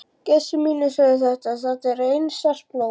Gestir mínir sögðu: Þetta er einært blóm.